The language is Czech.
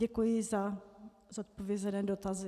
Děkuji za zodpovězené dotazy.